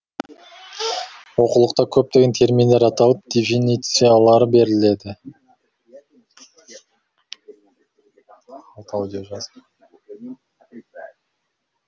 оқулықта көптеген терминдер аталып дефинициялары беріледі